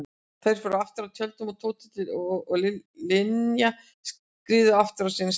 Þau fóru aftur að tjöldunum og Tóti og Linja skriðu aftur á sinn stað.